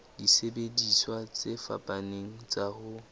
disebediswa tse fapaneng tsa ho